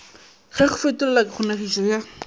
ge go fetolelwa kgonegišo ya